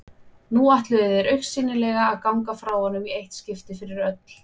Nú ætluðu þeir augsýnilega að ganga frá honum í eitt skipti fyrir öll.